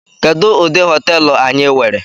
Kedu udi hoteelu anyi were?